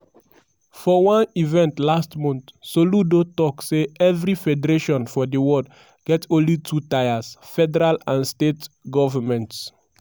for one event last month soludo tok say everi federation for di world get only two tiers: federal and state governments.